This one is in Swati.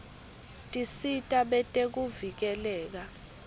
tisita betekuvikeleka